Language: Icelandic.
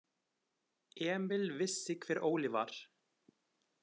Emil vissi hver Óli var.